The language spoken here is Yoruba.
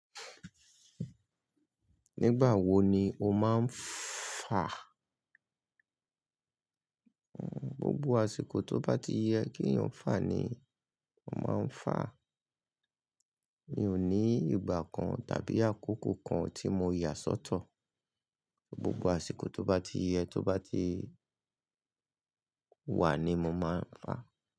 Nígbà wo ni o máà ń fà? Gbogbo àsìkò tó bá ti yẹ kí èèyàn fà ni mo máa ń fà. Mi ò ní ìgbà kan tàbí àkókò kan tí mo yà sọ́tọ̀. Gbogbo àsìkò tó bá ti yẹ, tó bá ti wà ni mo máa ń fà.